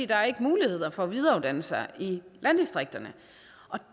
der er ikke muligheder for at videreuddanne sig i landdistrikterne og